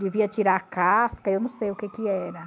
Devia tirar a casca, eu não sei o que que era.